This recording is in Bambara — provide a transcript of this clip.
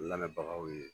Lamɛnbagaw ye